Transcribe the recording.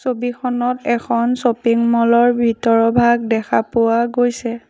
ছবিখনত এখন শ্বপিং ম'লৰ ভিতৰভাগ দেখা পোৱা গৈছে।